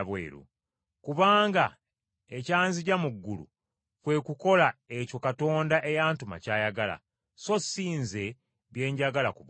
Kubanga ekyanzigya mu ggulu kwe kukola ekyo Katonda eyantuma ky’ayagala, so si Nze bye njagala ku bwange.